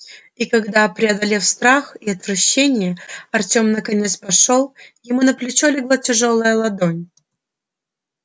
и когда преодолев страх и отвращение артём наконец пошёл ему на плечо легла тяжёлая ладонь